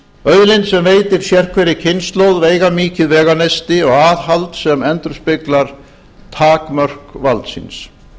auðlind sem veitir sérhverri kynslóð veigamikið veganesti aðhald sem endurspeglar takmörk valdsins